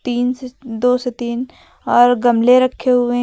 तीन से दो से तीन और गमले रखे हुए हैं।